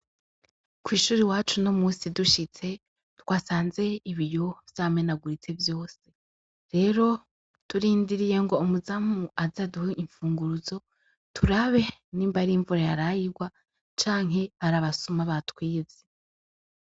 Kw'ishuri wacu no musi dushitse twasanze ibiyo vyameneaguritse vyose rero turindiriye ngo umuzamu azaduha imfunguruzo turabe n'imbarie imvura yarayirwa canke arabasuma ba twize.